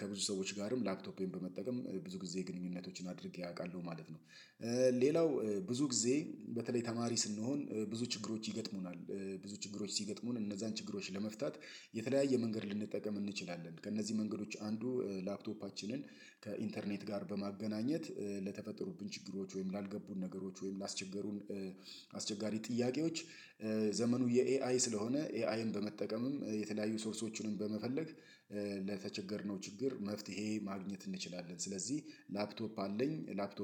ከብዙ ሰዎች ጋርም ላፕቶፔን በመጠቀም ብዙ ጊዜ ግንኙነቶችን አድርጌ አውቃለሁ ማለት ነው። ሌላው ብዙ ጊዜ በተለይ ተማሪ ስንሆን ብዙ ችግሮች ይገጥሙናል። ብዙ ችግሮች ሲገጥሙን እነዛን ችግሮች ለመፍታት የተለያየ መንገድ ልንጠቀም እንችላለን። ከእነዚህ መንገዶች አንዱ ላክቶፓችንን ከ'ኢንተርኔት' ጋር በማገናኘት ለተፈጠሩብን ችግሮች ወይም ላልገቡን ነገሮች ወይም ላስቸገሩን አስቸጋሪ ጥያቄዎች ዘመኑ የኤአይ ስለሆነ ኤአይን በመጠቀምም የተለያዩ ሶርሶችንም በመፈለግ ለተቸገርነው ችግር መፍትሄ ማግኘት እንችላለን። ስለዚህ ላፕቶፕ አለኝ። ላፕቶፕ